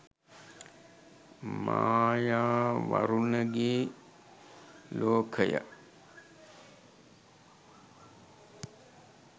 maya warunge lokaya